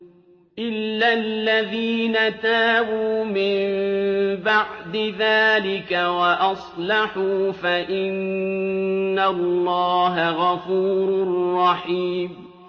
إِلَّا الَّذِينَ تَابُوا مِن بَعْدِ ذَٰلِكَ وَأَصْلَحُوا فَإِنَّ اللَّهَ غَفُورٌ رَّحِيمٌ